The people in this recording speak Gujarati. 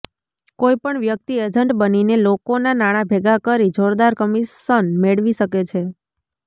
કોઈ પણ વ્યક્તિ એજન્ટ બનીને લોકોનાં નાણાં ભેગાં કરી જોરદાર કમિશન મેળવી શકે છે